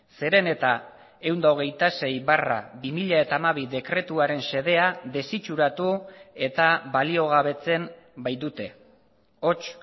zeren eta ehun eta hogeita sei barra bi mila hamabi dekretuaren xedea desitxuratu eta baliogabetzen baitute hots